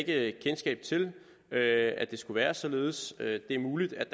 ikke kendskab til at at det skulle være således det er muligt at